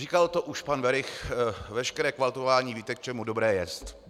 Říkal to už pan Werich: Veškeré kvaltování, víte, k čemu dobré jest.